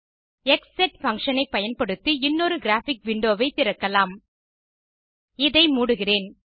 க்ஸெட் function ஐ பயன்படுத்தி இன்னொரு கிராபிக் விண்டோ ஐ திறக்கலாம் இதை மூடுகிறேன்